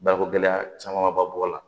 Bakogɛlɛya caman ba b'o la